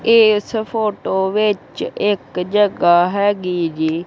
ਇਸ ਫੋਟੋ ਵਿੱਚ ਇੱਕ ਜਗ੍ਹਾ ਹੈਗੀ ਜੀ--